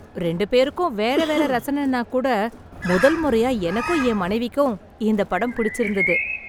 ரெண்டு பேருக்கும் வேற வேற ரசனைனா கூட முதல் முறையா எனக்கும் என் மனைவிக்கும் இந்த படம் புடிச்சு இருந்தது.